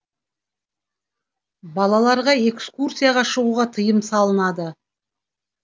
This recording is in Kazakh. балаларға экскурсияға шығуға тыйым салынады